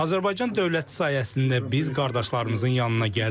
Azərbaycan dövləti sayəsində biz qardaşlarımızın yanına gəldik.